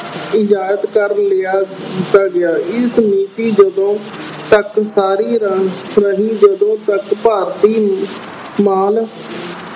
ਇਜਾਤ ਕਰ ਲਿਆ ਅਹ ਦਿੱਤਾ ਗਿਆ। ਇਸ ਨੀਤੀ ਜਦੋਂ ਤੱਕ ਰਹੀ, ਜਦੋਂ ਤੱਕ ਭਾਰਤੀ ਮਾਲ